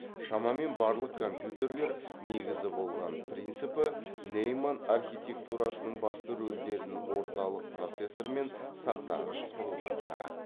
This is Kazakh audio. шамамен барлық компьютерлер негізі болған принципі нейман архитектурасының басты рольдерін орталық процессор мен сақтағыш құрылғы атқарады